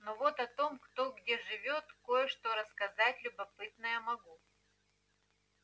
но вот о том кто где живёт кое-что рассказать любопытное могу